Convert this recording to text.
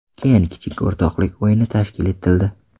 Keyin kichik o‘rtoqlik o‘yini tashkil etildi.